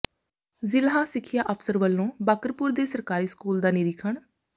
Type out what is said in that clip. ਜ਼ਿਲ੍ਹਾ ਸਿੱਖਿਆ ਅਫ਼ਸਰ ਵੱਲੋਂ ਬਾਕਰਪੁਰ ਦੇ ਸਰਕਾਰੀ ਸਕੂਲ ਦਾ ਨਿਰੀਖਣ